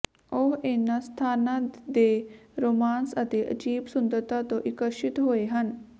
ਉਹ ਇਨ੍ਹਾਂ ਸਥਾਨਾਂ ਦੇ ਰੋਮਾਂਸ ਅਤੇ ਅਜੀਬ ਸੁੰਦਰਤਾ ਤੋਂ ਆਕਰਸ਼ਿਤ ਹੋਏ ਹਨ